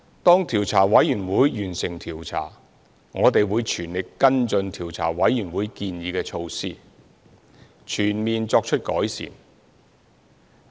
調查委員會完成調查後，我們會全力跟進調查委員會建議的措施，全面作出改善。